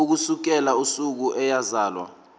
ukusukela usuku eyazalwa